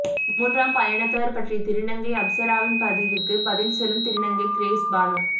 மூன்றாம் பாலினத்தவர் பற்றிய திருநங்கை அப்சராவின் பதிவுக்கு பதில் சொல்லும் திருநங்கை கிரேஸ்பானு